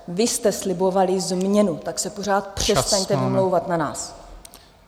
Vy jste slibovali změnu, tak se pořád přestaňte vymlouvat na nás.